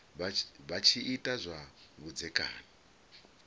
vha tshi ita zwa vhudzekani